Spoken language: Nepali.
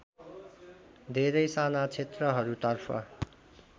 धेरै साना क्षेत्रहरूतर्फ